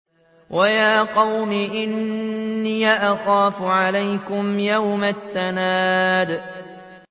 وَيَا قَوْمِ إِنِّي أَخَافُ عَلَيْكُمْ يَوْمَ التَّنَادِ